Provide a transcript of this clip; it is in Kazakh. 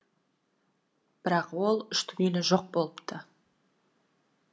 бірақ ол үшті күйлі жоқ болыпты